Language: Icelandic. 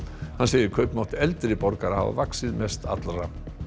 hann segir kaupmátt eldri borgara hafa vaxið mest allra